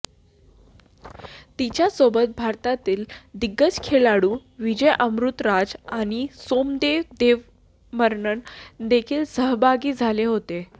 तिच्यासोबत भारतातील दिग्गज खेळाडू विजय अमृतराज आणि सोमदेव देववर्मन देखील सहभागी झाले होते